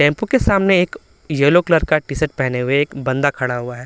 Tempo के सामने एक येलो कलर का टी-शर्ट पहने हुए एक बंदा खड़ा हुआ है।